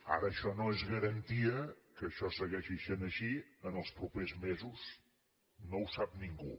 ara això no és garantia que això segueixi sent així en els propers mesos no ho sap ningú